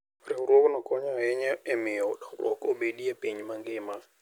Riwruogno konyo ahinya e miyo dongruok obedie e piny mangima.